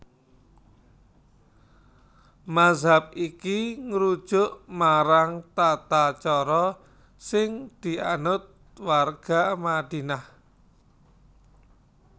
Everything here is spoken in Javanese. Mazhab iki ngrujuk marang tatacara sing dianut warga Madinah